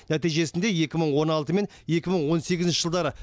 нәтижесінде екі мың он алты мен екі мың он сегізінші жылдары